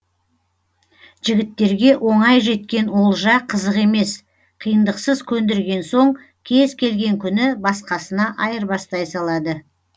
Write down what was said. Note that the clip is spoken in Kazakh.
жігіттерге оңай жеткен олжа қызық емес қиындықсыз көндірген соң кез келген күні басқасына айырбастай салады